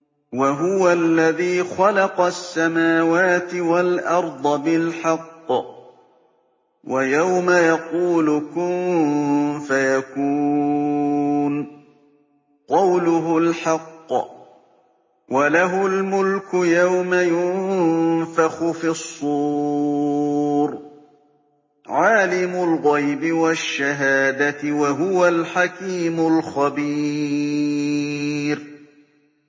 وَهُوَ الَّذِي خَلَقَ السَّمَاوَاتِ وَالْأَرْضَ بِالْحَقِّ ۖ وَيَوْمَ يَقُولُ كُن فَيَكُونُ ۚ قَوْلُهُ الْحَقُّ ۚ وَلَهُ الْمُلْكُ يَوْمَ يُنفَخُ فِي الصُّورِ ۚ عَالِمُ الْغَيْبِ وَالشَّهَادَةِ ۚ وَهُوَ الْحَكِيمُ الْخَبِيرُ